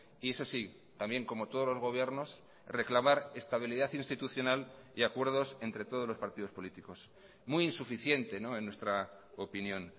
y eso sí también como todos los gobiernos reclamar estabilidad institucional y acuerdos entre todos los partidos políticos muy insuficiente en nuestra opinión